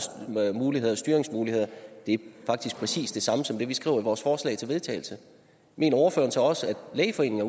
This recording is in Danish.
styringsmuligheder det er faktisk præcis det samme som det vi skriver i vores forslag til vedtagelse mener ordføreren så også at lægeforeningen